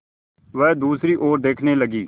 वह दूसरी ओर देखने लगी